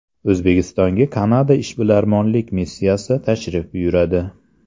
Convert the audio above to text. O‘zbekistonga Kanada ishbilarmonlik missiyasi tashrif buyuradi.